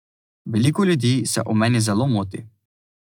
Veliko ljudi se o meni zelo moti.